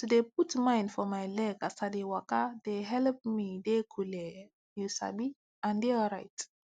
to de put mind for my leg as i de waka de helep me de colleee u sabi and de alright